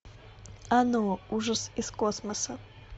оно ужас из космоса